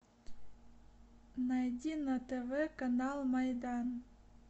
найди на тв канал майдан